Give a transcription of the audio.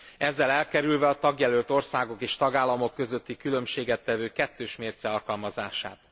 Ezzel elkerülve a tagjelölt országok és tagállamok közötti különbséget tevő kettős mérce alkalmazását.